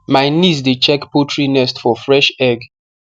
my niece dey check poultry nest for fresh egg